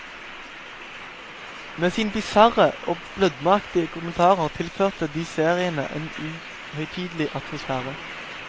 Med sine bisarre og blødmeaktige kommentarer tilførte de seriene en uhøytidelig atmosfære.